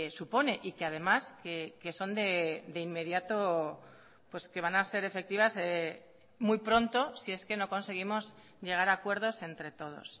supone y que además que son de inmediato que van a ser efectivas muy pronto si es que no conseguimos llegar a acuerdos entre todos